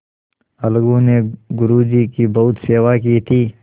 अलगू ने गुरु जी की बहुत सेवा की थी